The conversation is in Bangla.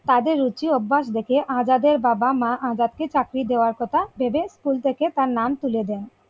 তাদের রুচি অভ্যাস দেখে আজাদের বাবা মা আজাদকে চাকরি দেওয়ার কথা ভেবে school থেকে তার নাম তুলে দেয়।